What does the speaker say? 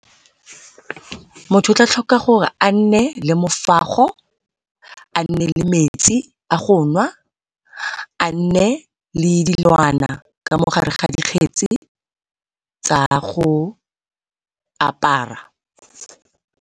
Motho o tla tlhoka gore a nne le mofago, a nne le metsi a go nwa, a nne le dilwana ka mo gare ga dikgetsi tsa go apara.